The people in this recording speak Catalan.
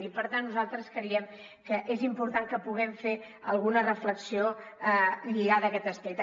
i per tant nosaltres creiem que és important que puguem fer alguna reflexió lligada a aquest aspecte